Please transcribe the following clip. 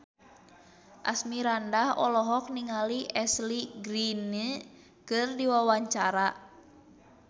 Asmirandah olohok ningali Ashley Greene keur diwawancara